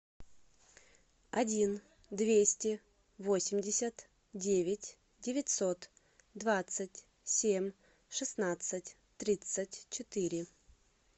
один двести восемьдесят девять девятьсот двадцать семь шестнадцать тридцать четыре